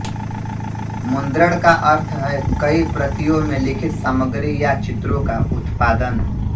मुद्रण का अर्थ है कई प्रतियों में लिखित सामग्री या चित्रों का उत्पादन